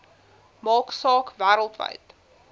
maak saak wêreldwyd